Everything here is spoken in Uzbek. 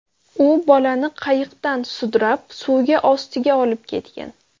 U bolani qayiqdan sudrab, suvga ostiga olib ketgan.